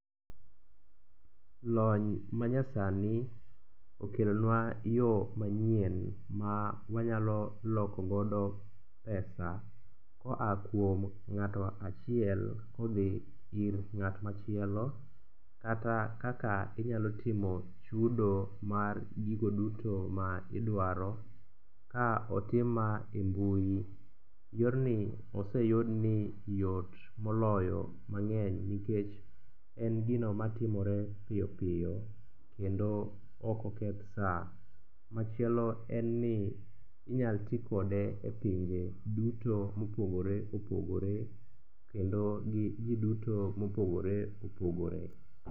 Lony manyasani okelonwa yo manyien ma wanyalo lokogodo pesa koa kuom ng'ato achiel kodhi ir ng'at machielo kata kaka inyalo timo chudo mar gigo duto ma idwaro ka otim ma e mbui. Yorni oseyud ni yot moloyo mang'eny nikech en gino matimore piyo piyo kendo okoketh sa. Machielo en ni inyal tikode e pinje duto mopogore opogore kendo gi ji duto mopogore opogore.